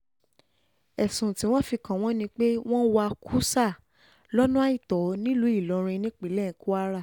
ẹ̀sùn tí wọ́n fi kàn wọ́n ni pé wọ́n wá kùsà lọ́nà àìtọ́ nílùú ìlọrin nípínlẹ̀ kwara